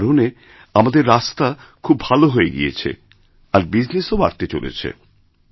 এই কারণে আমাদের রাস্তা খুব ভালো হয়ে গিয়েছে আর বিজনেসও বাড়তেচলেছে